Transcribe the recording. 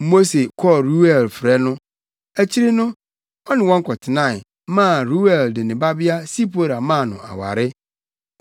Mose kɔɔ Reuel frɛ no. Akyiri no, ɔne wɔn kɔtenae, maa Reuel de ne babea Sipora maa no aware.